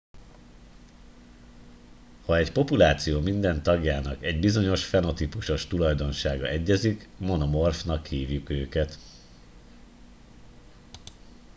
ha egy populáció minden tagjának egy bizonyos fenotípusos tulajdonsága egyezik monomorfnak hívjuk őket